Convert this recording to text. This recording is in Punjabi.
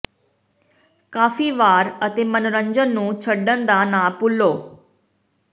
ਕਾਫ਼ੀ ਵਾਰ ਅਤੇ ਮਨੋਰੰਜਨ ਨੂੰ ਛੱਡਣ ਦਾ ਨਾ ਭੁੱਲੋ